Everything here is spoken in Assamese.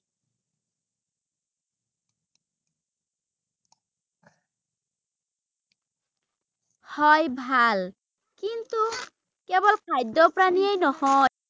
হয় ভাল ৷ কিন্তু কেৱল খাদ্য পানীয়েই নহয় ৷